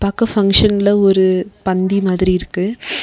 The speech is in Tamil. பாக்க பங்ஷன்ல ஒரு பந்தி மாதிரி இருக்கு.